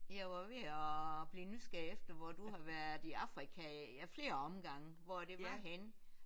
Jeg var ved at blive nysgerrig efter hvor du har været i Afrika af flere omgange hvor det var henne